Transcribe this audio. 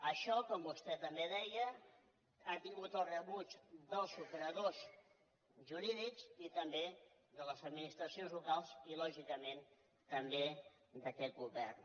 això com vostè també deia ha tingut el rebuig dels operadors jurídics i també de les administracions locals i lògicament també d’aquest govern